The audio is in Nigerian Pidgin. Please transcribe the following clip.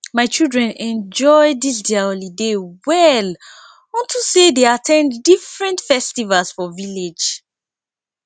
my children enjoy dis their holiday well unto say dey at ten d different festivals for village